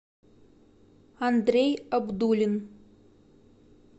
андрей абдулин